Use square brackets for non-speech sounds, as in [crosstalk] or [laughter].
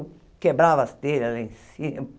Eu quebrava as telhas lá em cima. [laughs]